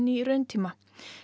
í rauntíma